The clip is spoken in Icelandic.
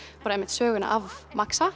söguna af